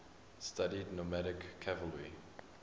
studied nomadic cavalry